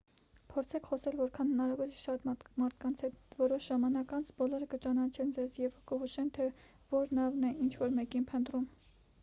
փորձեք խոսել որքան հնարավոր է շատ մարդկանց հետ որոշ ժամանակ անց բոլորը կճանաչեն ձեզ և կհուշեն թե որ նավն է ինչ-որ մեկին փնտրում